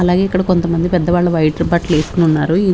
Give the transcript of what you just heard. అలాగే ఇక్కడ కొంతమంది పెద్దవాళ్ళ వైట్ బట్టలు వేసుకొని ఉన్నారు.